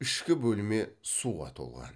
ішкі бөлме суға толған